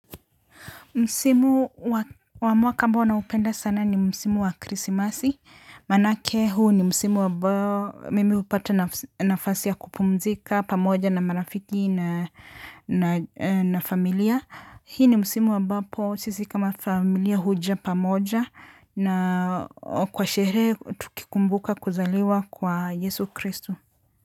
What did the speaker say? Msimu wa mwaka ambao naupenda sana ni msimu wa krisimasi, maanake huu ni msimu abao mimi upata nafasi ya kupumzika pamoja na marafiki na na familia. Hii ni msimu ambapo sisi kama familia huja pamoja na kwa sherehe tukikumbuka kuzaliwa kwa Yesu Kristu.